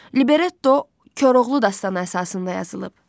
Libretto Koroğlu dastanı əsasında yazılıb.